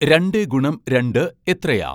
രണ്ടേ ഗുണം രണ്ട് എത്രയാ